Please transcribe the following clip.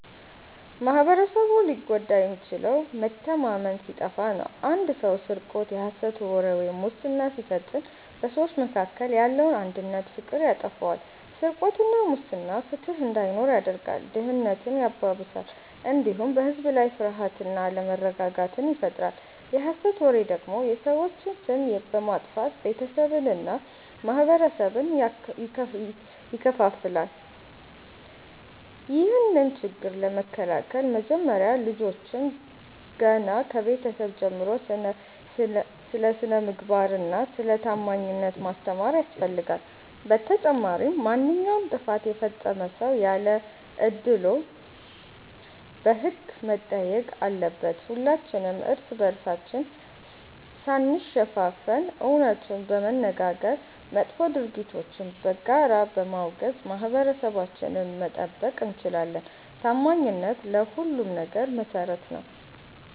ማኅበረሰቡ ሊጎዳ የሚችለው መተማመን ሲጠፋ ነው። አንድ ሰው ስርቆት፣ የሐሰት ወሬ ወይም ሙስና ሲፈጽም በሰዎች መካከል ያለውን አንድነትና ፍቅር ያጠፋዋል። ስርቆትና ሙስና ፍትሕ እንዳይኖር ያደርጋል፣ ድህነትን ያባብሳል፣ እንዲሁም በሕዝብ ላይ ፍርሃትና አለመረጋጋትን ይፈጥራል። የሐሰት ወሬ ደግሞ የሰዎችን ስም በማጥፋት ቤተሰብንና ማኅበረሰብን ይከፋፍላል። ይህንን ችግር ለመከላከል መጀመሪያ ልጆችን ገና ከቤተሰብ ጀምሮ ስለ ስነ-ምግባርና ስለ ታማኝነት ማስተማር ያስፈልጋል። በተጨማሪም ማንኛውም ጥፋት የፈጸመ ሰው ያለ አድልዎ በሕግ መጠየቅ አለበት። ሁላችንም እርስ በርሳችን ሳንሸፋፈን እውነቱን በመነጋገርና መጥፎ ድርጊቶችን በጋራ በማውገዝ ማኅበረሰባችንን መጠበቅ እንችላለን። ታማኝነት ለሁሉም ነገር መሠረት ነው።